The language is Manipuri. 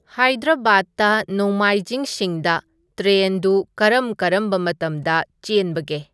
ꯍꯥꯏꯗ꯭ꯔꯕꯥꯗꯇ ꯅꯣꯡꯃꯥꯏꯖꯤꯡꯁꯤꯡꯗ ꯇ꯭ꯔꯦꯟꯗꯨ ꯀꯔꯝ ꯀꯔꯝꯕ ꯃꯇꯝꯗ ꯆꯦꯟꯕꯒꯦ